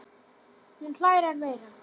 Hún hlær enn meira.